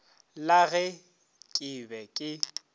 la ge ke be ke